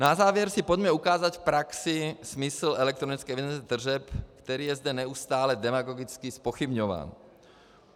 Na závěr si pojďme ukázat v praxi smysl elektronické evidence tržeb, který je zde neustále demagogicky zpochybňován.